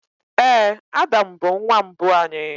Ee, Adam bụ nwa mbụ anyị.